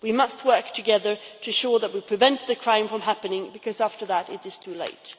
We must work together to ensure that we prevent the crime from happening, because after that it is too late.